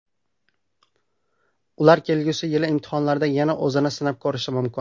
Ular kelgusi yili imtihonlarda yana o‘zini sinab ko‘rishi mumkin.